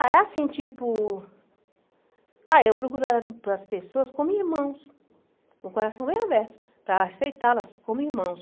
Ah, é assim, tipo... Ah, eu procuro a para as pessoas como irmãos, com o coração bem aberto, para aceitá-las como irmãos.